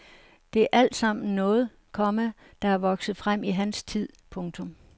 Det er alt sammen noget, komma der er vokset frem i hans tid. punktum